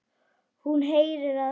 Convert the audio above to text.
Hún heyrir að hann hlær.